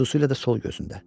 Xüsusilə də sol gözündə.